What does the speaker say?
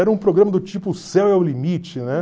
Era um programa do tipo O Céu é o Limite, né?